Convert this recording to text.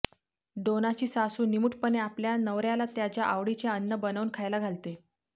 डोनाची सासू निमूटपणे आपल्या नवर्याला त्याच्या आवडीचे अन्न बनवून खायला घालते